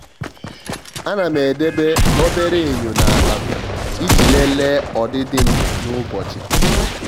à nà m edèbè obere enyo n’ákpá m iji lelee ọdịdị m n'ụ́bọ̀chị̀.